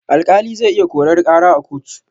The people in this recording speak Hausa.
Alƙali zai iya korar ƙara a kotu.